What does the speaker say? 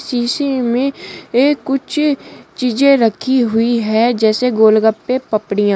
शीशे में एक कुछ चीजे रखी हुई है जैसे गोलगप्पे पपड़ियां --